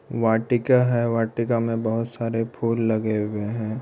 वाटिका है वाटिका में बहुत सारे फूल लगे हुए है।